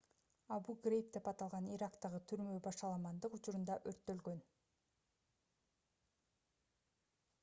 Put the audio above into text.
абу-грейб деп аталган ирактагы түрмө башаламандык учурунда өрттөлгөн